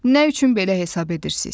Nə üçün belə hesab edirsiz?